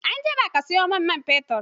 Anjima ka saya mun man fetur!